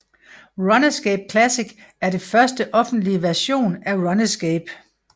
Runescape Classic er det første offentlige version af Runescape